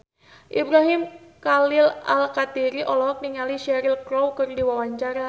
Ibrahim Khalil Alkatiri olohok ningali Cheryl Crow keur diwawancara